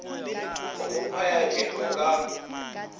o mo phaya thetho ka